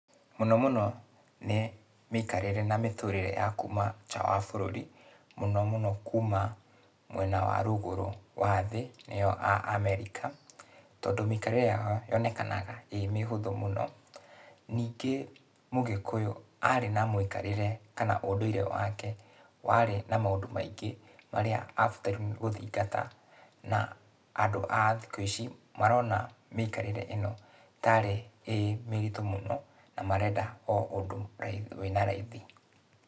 Mũno mũno, nĩ mĩikarĩre na mĩtũrĩre ya kuuma nja wa bũrũri, mũno mũno kuuma mwena wa rũgũrũ wa thĩ nĩyo a America tondũ mĩikarĩre yao yonekanaga ĩĩ mĩhũthũ mũno. Ningĩ mũgĩkũyũ aarĩ na mũikarĩre kana ũndũire wake warĩ na maũndũ maingĩ marĩa abatairwo nĩ gũthingata na andũ a thikũ ici marona mĩikarĩre ĩno tarĩ ĩĩ mĩritũ mũno na marenda o ũndũ wĩna raithi.